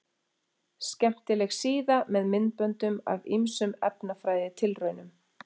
Skemmtileg síða með myndböndum af ýmsum efnafræðitilraunum.